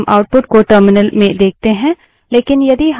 इसलिए हम output को terminal में देखते हैं